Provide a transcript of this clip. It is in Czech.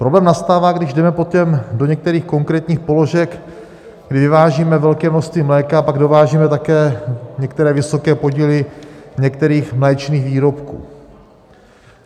Problém nastává, když jdeme potom do některých konkrétních položek, kdy vyvážíme velké množství mléka a pak dovážíme také některé vysoké podíly některých mléčných výrobků.